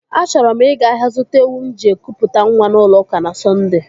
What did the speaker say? Achọrọ m ịga ahịa zụta ewu m ji ekụ pụta nwa n'ụlọ ụka na Sondee.